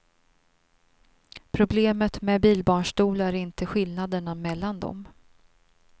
Problemet med bilbarnstolar är inte skillnaderna mellan dem.